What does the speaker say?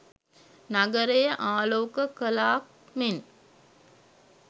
නගරය ආලෝක කලාක් මෙන්